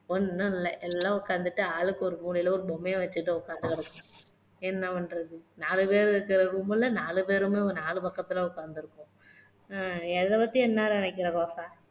ஒண்ணும் இல்ல, எல்லாம் உக்காந்துட்டு ஆளுக்கு ஒரு மூலையில ஒரு பொம்மைய வச்சுக்கிட்டு உக்காந்து கிடக்குது என்ன பண்றது நாலுபேரு இருக்க room ல நாலு பேருமே நாலு பக்கத்துல உக்காந்துருக்கோம் ஹம் இதை பத்தி என்ன நினையக்கிற ரோசா